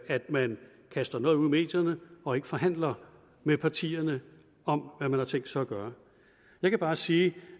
at man kaster noget ud i medierne og ikke forhandler med partierne om hvad man har tænkt sig at gøre jeg kan bare sige